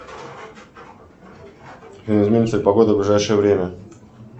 изменится ли погода в ближайшее время